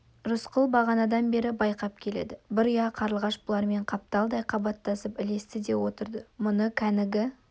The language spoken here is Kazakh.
рысқұл бағанадан бері байқап келеді бір ұя қарлығаш бұлармен қапталдай қабаттасып ілесті де отырды мұны кәнігі